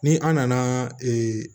Ni an nana